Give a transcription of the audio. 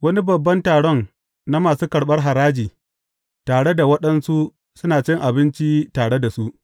Wani babban taron na masu karɓar haraji, tare da waɗansu suna cin abinci tare da su.